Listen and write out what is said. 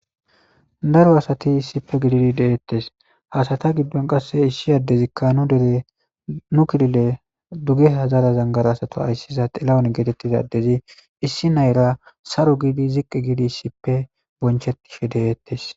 Daro asati issippe gididi deettees ,ha asata giddon nu dere ,nu kilile dugeha zara zangarata xilahun geetittiza addezi issi na7eyira ziqqi giidi bonchettishe beettees.